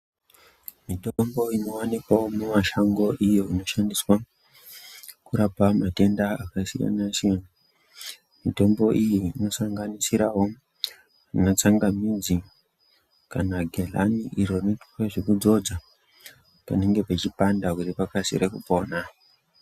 Mitombo inowanikwawo mumashango iyo inoshandiswa, kurapa matenda akasiyana-siyana. Mitombo iyi inosanganisirawo, ana tsangamidzi kana gehlani iro rinoite zvekudzodzwa panenge pachipanda kuti pakasire kupona.